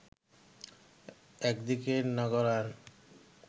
একদিকে নগরায়ন